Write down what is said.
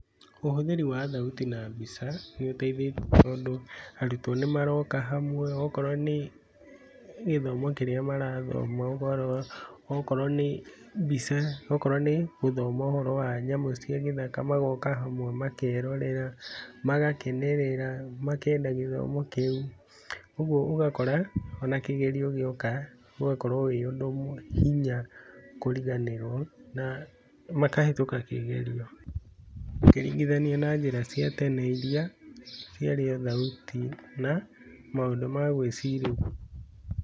Ũhũthĩri wa thauti na mbica nĩ ũteithĩtie tondũ arutwo nĩ maroka hamwe okorwo nĩ, gĩthomo kĩrĩa marathoma ũkarora, okorwo nĩ mbica, okorwo nĩ gũthoma ũhoro wa nyamũ cia gĩthaka magoka hamwe makerorera, magakenerera, makenda gĩthomo kĩu, ũguo ũgakora ona kĩgerio gĩoka ũgakorwo wĩ ũndũ hinya kũriganĩrwo na makahĩtũka kĩgerio, ũkĩringithania na njĩra cia tene iria ciarĩ o thauti na maũndũ ma gwĩcirĩria.